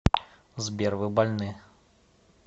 сбер вы больны